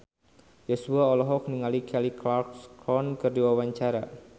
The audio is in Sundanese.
Joshua olohok ningali Kelly Clarkson keur diwawancara